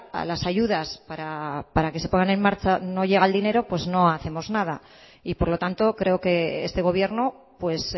a las ayudas para que se pongan en marcha no llega el dinero pues no hacemos nada y por lo tanto creo que este gobierno pues